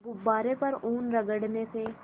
गुब्बारे पर ऊन रगड़ने से